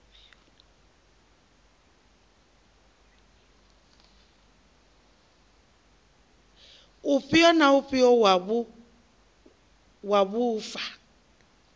ufhio na ufhio wa vhuaifa